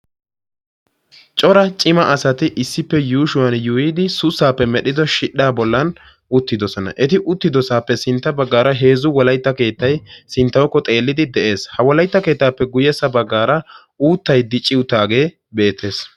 Cora cima asati issippe yuushshuwan yuuyyidi sussappe medhdhido shidhdha bollan uttidooosona. Eti uttidoosappe sintta baggaara heezzu wolaytta keettay sinttawukko xeelidi de'ees. Ha wolaytta keettappe guyyessa baggaara uuttay dicci uttaage beettees.